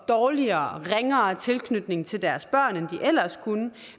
dårligere og ringere tilknytning til deres børn end de ellers kunne